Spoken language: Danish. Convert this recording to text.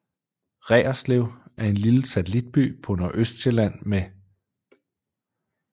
Reerslev er en lille satellitby på Nordøstsjælland med